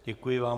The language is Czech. Děkuji vám.